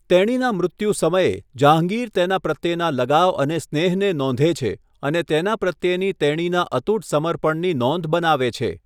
તેણીના મૃત્યુ સમયે, જહાંગીર તેના પ્રત્યેના લગાવ અને સ્નેહને નોંધે છે અને તેના પ્રત્યેની તેણીના અતૂટ સમર્પણની નોંધ બનાવે છે.